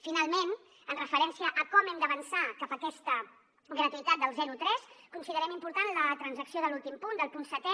finalment amb referència a com hem d’avançar cap a aquesta gratuïtat dels zero tres considerem important la transacció de l’últim punt del punt setè